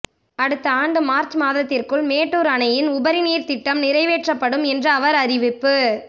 அடுத்த ஆண்டு மார்ச் மாதத்திற்குள் மேட்டூர் அணையின் உபரிநீர் திட்டம் நிறைவேற்றப்படும் என்று அவர் அறிவிப்பு